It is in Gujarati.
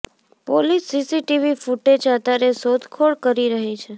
પોલીસ સીસીટીવી ફૂટેજ આધારે શોધખોળ કરી રહી છે